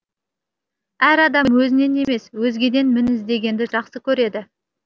әр адам өзінен емес өзгеден мін іздегенді жақсы көреді